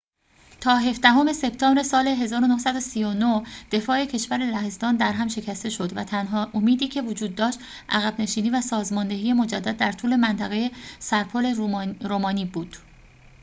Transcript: تا هفدهم سپتامبر سال ۱۹۳۹ دفاع کشور لهستان درهم شکسته شد و تنها امیدی که وجود داشت عقب نشینی و سازماندهی مجدد در طول منطقه سرپل رومانی بود